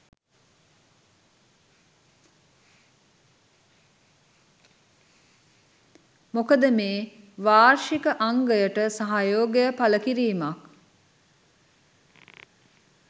මොකද මේ වාර්ෂික අංගයට සහයෝගය පළකිරීමක්